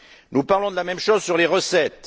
Nous parlons de la même chose sur les recettes.